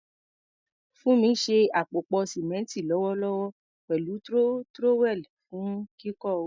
Funmi ń ṣe àpòpọ̀ símẹ́ńtì lọ́wọ́lọ́wọ́ pẹ̀lú trowel fún kíkọ́ ògiri.